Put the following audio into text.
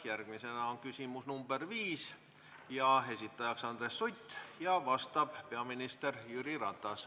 Järgmisena küsimus nr 5: esitajaks Andres Sutt, vastab peaminister Jüri Ratas.